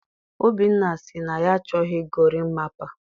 Obinna sị na ya achọghị gorimapa.